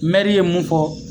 ye mun fɔ